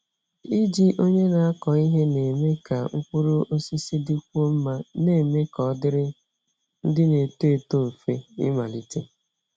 Iji onye na-akọ ihe na-eme ka mkpụrụ osisi dịkwuo mma, na-eme ka ọ dịrị ndị na-eto eto mfe ịmalite.